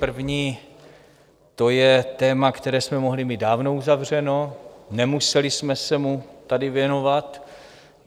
První, to je téma, které jsme mohli mít dávno uzavřeno, nemuseli jsme se mu tady věnovat.